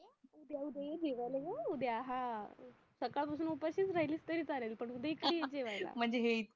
उद्या उद्या ये जेवायला हा सकाळ पासून उपाशीच राहिलीस तरी चालेल पण उद्या इकडे ये जेवायला